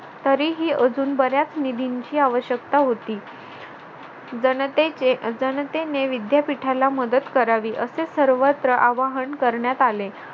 तरीही अजून बऱ्याच निधीची आवश्यकता होती जनतेचे जनतेने विद्यापीठाला मदत करावी असे सर्वत्र आवाहन करण्यात आले.